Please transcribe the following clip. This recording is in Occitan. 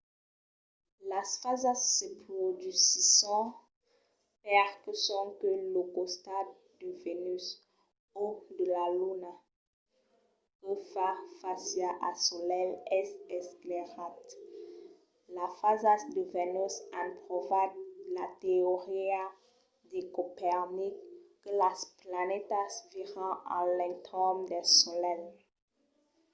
las fasas se produsisson perque sonque lo costat de vènus o de la luna que fa fàcia al solelh es esclairat. las fasas de vènus an provat la teoria de copernic que las planetas viran a l'entorn del solelh